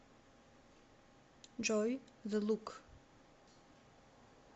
джой зе лук